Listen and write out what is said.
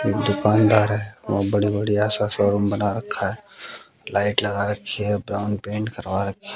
एक दुकानदार है वहां बहोत बड़ी बड़ी आशा शोरूम बना रखा है लाइट लगा रखी है ब्राउन पेंट करवा रखी--